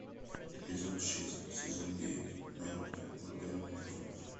эпизод шесть сезон девять наруто ураганные хроники